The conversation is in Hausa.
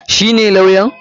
Shi ne lawyan?